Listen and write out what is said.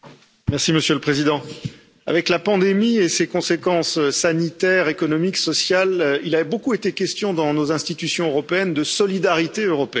Monsieur le Président, avec la pandémie et ses conséquences sanitaires, économiques et sociales, il a beaucoup été question dans nos institutions européennes de solidarité européenne.